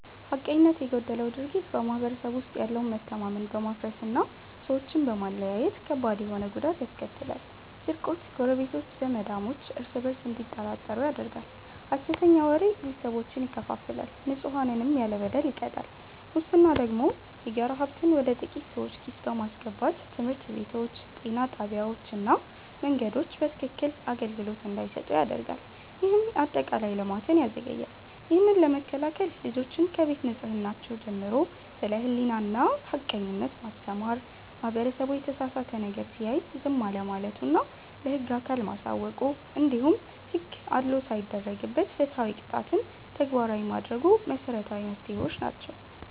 ሐቀኝነት የጎደለው ድርጊት በማህበረሰቡ ውስጥ ያለውን መተማመን በማፍረስና ሰዎችን በመለያየት ከባድ ተሆነ ጉዳት ያስከትላል፤ ስርቆት ጎረቤቶች፣ ዘማዳሞች እርስ በእርስ እንዲጠራጠሩ ያደርጋል፣ ሐሰተኛ ወሬ ቤተሰቦችን ይከፋፍላል፣ ንጹሐንንም ያለ በደል ይቀጣል። ሙስና ደግሞ የጋራ ሀብትን ወደ ጥቂት ሰዎች ኪስ በማስገባት ትምህርት ቤቶች፣ ጤና ጣቢያዎችና መንገዶች በትክክክን አገልግሎት እንዳይሰጡ ያደርጋል፤ ይህም አጠቃላይ ልማትን ያዘገያል። ይህንን ለመከላከል ልጆችን ከቤት ከህፃንነራቸው ጀምሮ ስለ ሕሊናና ሐቀኝነት ማስተማር፣ ማህበረሰቡ የተሳሳተ ነገር ሲያይ ዝም አለማለቱና ለህግ አካል ማሳወቁ፣ እንዲሁም ሕግ አድልዎ ሳይደረግበት ፍትሃዊ ቅጣትን ተግባራዊ ማድረጉ መሰረታዊ መፍትሄዎች ናቸው።